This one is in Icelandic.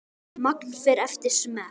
Magn fer eftir smekk.